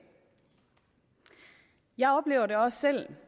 jeg oplever det også selv